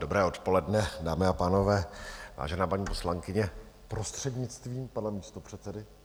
Dobré odpoledne, dámy a pánové, vážená paní poslankyně, prostřednictvím pana místopředsedy...